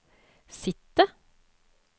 sitte